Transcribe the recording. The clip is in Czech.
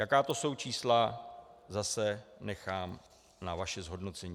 Jaká to jsou čísla, zase nechám na vašem zhodnocení.